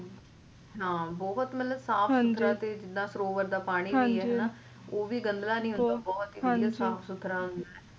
ਹਾਂ ਬਹੁਤ ਹੀ ਮਤਲਬ ਸਾਫ ਸੁਥਰਾ ਤੇ ਸਰੋਵਰ ਦਾ ਪਾਣੀ ਵੀ ਓਹ ਵੀ ਗੰਦਾ ਨਹੀਂ ਹੁੰਦਾ ਬਹੁਤ ਹੀ ਸਾਫ ਸੁਥਰਾ ਹੁੰਦਾ